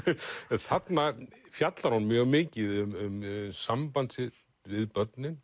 en þarna fjallar hún mjög mikið um samband sitt við börnin